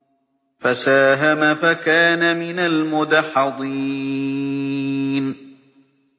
فَسَاهَمَ فَكَانَ مِنَ الْمُدْحَضِينَ